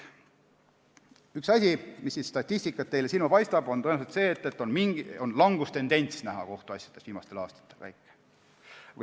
Üks asi, mis statistikast silma paistab, on see, et viimastel aastatel on näha kohtuasjade arvu langustendentsi.